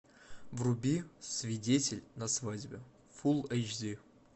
вруби свидетель на свадьбе фулл эйч ди